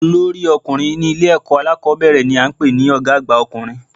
Olórí ọkùnrin ní Ilé èkó alákòbéèrè ni a n pè ní Ògá àgbà ọkùnrin